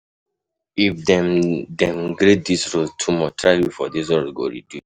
Bad road na di major wahala wey I dey face everyday for road.